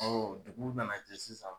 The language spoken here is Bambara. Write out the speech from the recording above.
dugu nana jɛ sisan.